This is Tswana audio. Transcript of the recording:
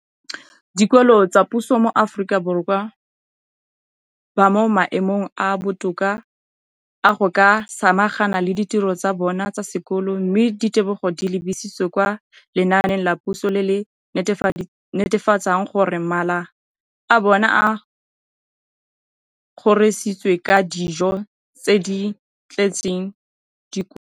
dikolo tsa puso mo Aforika Borwa ba mo maemong a a botoka a go ka samagana le ditiro tsa bona tsa sekolo, mme ditebogo di lebisiwa kwa lenaaneng la puso le le netefatsang gore mala a bona a kgorisitswe ka dijo tse di tletseng dikotla.